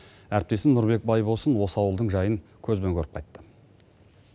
әріптесім нұрбек байболсын осы ауылдың жайын көзбен көріп қайтты